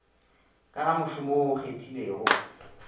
ka gamošomo wo o okgethilego